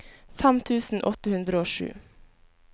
fem tusen åtte hundre og sju